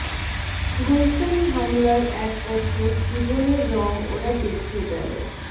গুলশান হামলার এক বছর জীবনের রং ওরা দেখিয়ে গেল